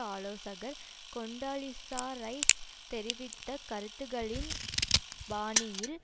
ஆலோசகர் Condoleezza Rice தெரிவித்த கருத்துக்களின் பாணியில்